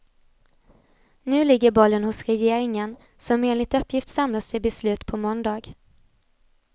Nu ligger bollen hos regeringen, som enligt uppgift samlas till beslut på måndag.